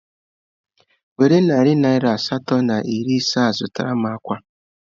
Were narị naira asatọ na iri ise a zụtara m akwa